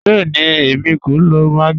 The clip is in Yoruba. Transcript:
Bẹẹ̀ni, èmi kò lọ maggi.